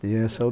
E essa